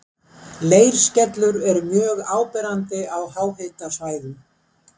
Leirskellur eru mjög áberandi á háhitasvæðum.